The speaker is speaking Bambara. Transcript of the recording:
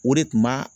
O de tun b'a